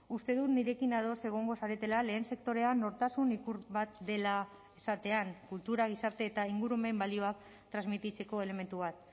uste dut nirekin ados egongo zaretela lehen sektorea nortasun ikur bat dela esatean kultura gizarte eta ingurumen balioak transmititzeko elementu bat